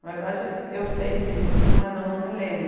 Na verdade, eu sei disso, mas eu não me lembro.